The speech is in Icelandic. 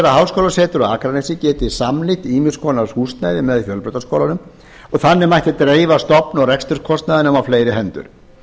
að háskólasetur á akranesi gæti samnýtt ýmiss konar húsnæði með fjölbrautaskólanum og þannig mætti dreifa stofn og rekstrarkostnaðinum á fleiri hendur